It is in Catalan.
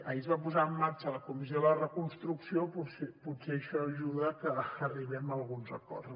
ahir es va posar en marxa la comissió de la reconstrucció potser això ajuda que arribem a alguns acords